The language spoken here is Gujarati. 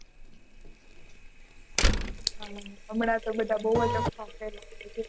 હા હમણાં તો બઘા બહુ જ અફવા ફેલાવી છે